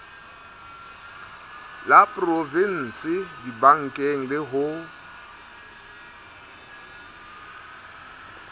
la provinse dibankeng le ho